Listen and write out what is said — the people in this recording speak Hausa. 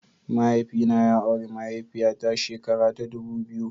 Mahaifina ya auri mahaifiya ta shekara ta dubu biyu.